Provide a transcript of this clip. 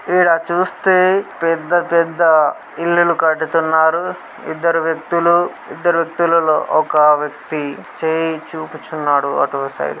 ఈడ చూస్తే పెద్ధ పేద్ద ఇల్లులు కడుతునరు ఇద్ధరు వ్యక్తులు ఇద్ధరు వ్యక్తులలో ఒక చేయి చూపుచున్నాడు అటుసైడ్